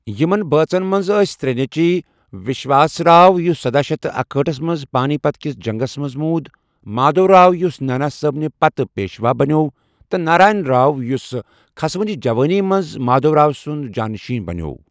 یِمن بٲژن منٛز ٲسۍ ترٛےٚ نیچِوِ ، وشواس راؤ یُس سداہ شیتھ تہٕ اکہاٹھ منٛز پانی پت کِس جنگس منٛز موُد، مادھو راؤ یُس نانا صٲبنہِ پتہٕ پیشوا بنٛیٚوو تہٕ نارائن راؤ یُس كھسونہِ جوٲنۍ منٛز مادھو راؤ سُند جاں نشیں بنِیوو ۔